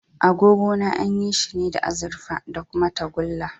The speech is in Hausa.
Agogona an yi shi ne da azurfa da kuma tagulla.